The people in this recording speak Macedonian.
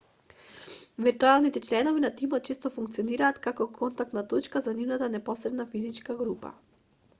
виртуелните членови на тимот често функционираат како контактна точка за нивната непосредна физичка група